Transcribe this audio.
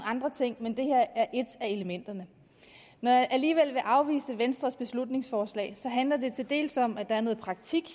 andre ting men det her er et af elementerne når jeg alligevel vil afvise venstres beslutningsforslag handler det til dels om at der er noget praktik